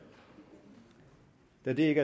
da det ikke